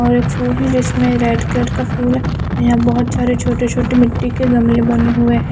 Orange इसमें red colour का फूल यहाँ बोहोत सारे छोटे छोटे मिटटी के गमले बने हुए है।